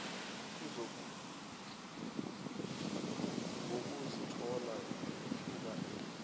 ngokuzithoba ngethuba engibe